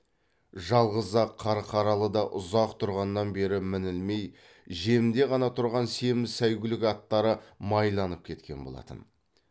жалғыз ақ қарқаралыда ұзақ тұрғаннан бері мінілмей жемде ғана тұрған семіз сәйгүлік аттары майланып кеткен болатын